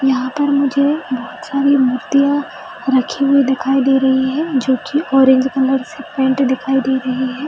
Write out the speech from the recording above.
यहाँ पर मुझे बहुत सारी मूर्तियाँ रखी हुई दिखाई दे रही है जो कि ऑरेंज कलर से पेंट दिखाई दे रही है ।